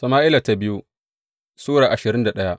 biyu Sama’ila Sura ashirin da daya